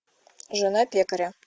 жена пекаря